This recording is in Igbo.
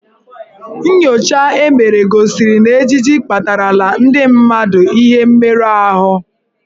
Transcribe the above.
Nnyocha e mere gosiri na ejiji akpatarala ndị mmadụ ihe mmerụ ahụ.